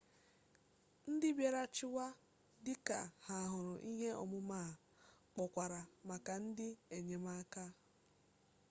ndị mbịarachịwa dịka ha hụrụ ihe omume a kpọkwara maka ndị enyemaka